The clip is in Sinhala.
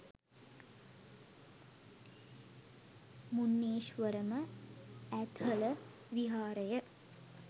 මුන්නේශ්වරම, ඇත්හල විහාරය